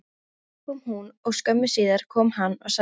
Fyrst kom hún og skömmu síðar kom hann og sagði